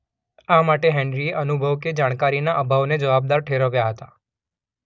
આ માટે હેન્ડ્રીએ અનુભવ કે જાણકારીના અભાવને જવાબદાર ઠેરવ્યાં હતા.